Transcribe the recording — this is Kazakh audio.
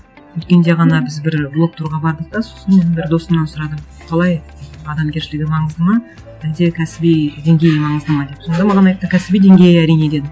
өткенде ғана біз бір блог турға бардық та сосын енді досымнан сұрадым қалай адамгершілігі маңызды ма әлде кәсіби деңгейі маңызды ма деп сонда маған айтты кәсіби деңгейі әрине деді